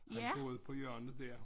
Han boede på hjørnet dér